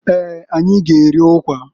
Eeǃ Anyị g'eri ukwa.